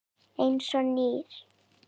Eins og nýr.